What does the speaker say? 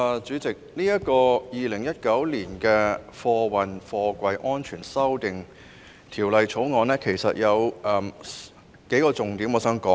主席，就《2019年運貨貨櫃條例草案》，我想討論數個重點。